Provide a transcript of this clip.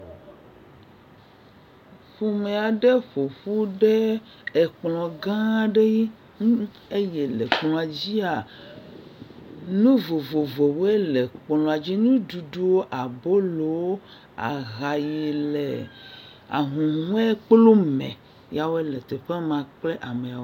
Ƒome aɖe ƒoƒu ɖe ekplɔ gã aɖe nu nuɖum eye le kplɔa dzia nu vovovowoe le kplɔa dzi, nuɖuɖuwo, abolo, aha yi le ahuhɔe kplu me. Ya wo le teƒe ma kple amewo.